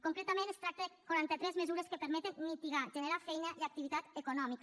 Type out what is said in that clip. concretament es tracta de quarantatres mesures que permeten mitigar generar feina i activitat econòmica